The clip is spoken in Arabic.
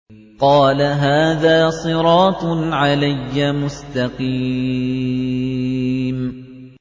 قَالَ هَٰذَا صِرَاطٌ عَلَيَّ مُسْتَقِيمٌ